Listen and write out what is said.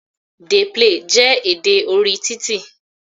"Dey play" jẹ́ èdè orí titi.